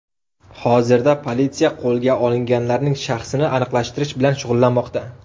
Hozirda politsiya qo‘lga olinganlarning shaxsini aniqlashtirish bilan shug‘ullanmoqda.